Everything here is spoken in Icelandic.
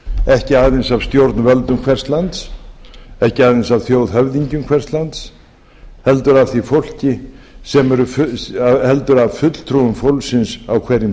ekki aðeins af stjórnvöldum hvers lands ekki aðeins af þjóðhöfðingjum hvers lands heldur af fulltrúum fólksins á hverjum